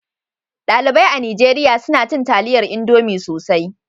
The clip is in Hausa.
Dalibai a Nijeriya suna cin taliyar Indomi sosai.